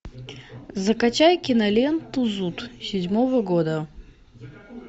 закачай киноленту зуд седьмого года